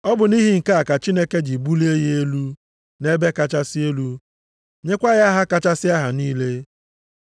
Ọ bụ nʼihi nke a ka Chineke ji bulie ya elu nʼebe kachasị elu, nyekwa ya aha kachasị aha niile elu.